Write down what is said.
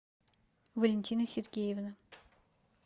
валентина сергеевна